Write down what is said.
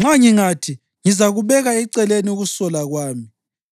Nxa ngingathi, ‘Ngizakubeka eceleni ukusola kwami,